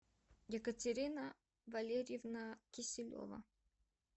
екатерина валерьевна киселева